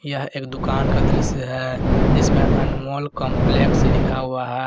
यह एक दुकान का दृश्य है इसमें अनमोल कंपलेक्स लिखा हुआ है।